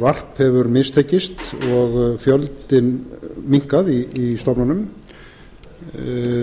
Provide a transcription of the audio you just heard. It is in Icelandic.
varp hefur mistekist og fjöldinn minnkað í stofnunum